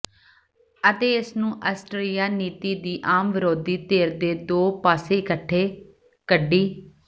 ਅਤੇ ਇਸ ਨੂੰ ਆਸਟਰੀਆ ਨੀਤੀ ਦੀ ਆਮ ਵਿਰੋਧੀ ਧਿਰ ਦੇ ਦੋ ਪਾਸੇ ਇਕੱਠੇ ਕੱਢੀ